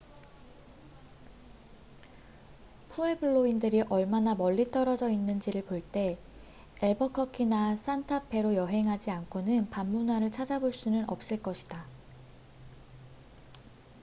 푸에블로인들이 얼마나 멀리 떨어져 있는지를 볼 때 앨버커키나 산타 페로 여행하지 않고는 밤 문화를 찾아볼 수는 없을 것이다